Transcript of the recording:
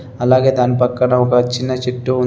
అలాగే దాని పక్కన ఒక చిన్న చెట్టు ఉన్--